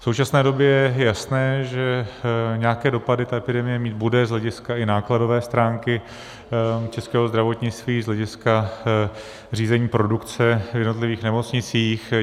V současné době je jasné, že nějaké dopady ta epidemie mít bude z hlediska i nákladové stránky českého zdravotnictví, z hlediska řízení produkce v jednotlivých nemocnicích;